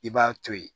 I b'a to ye